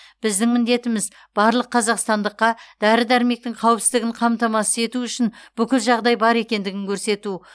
біздің міндетіміз барлық қазақстандыққа дәрі дәрмектің қауіпсіздігін қамтамасыз ету үшін бүкіл жағдай бар екендігін көрсету